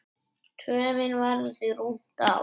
Töfin verður því rúmt ár.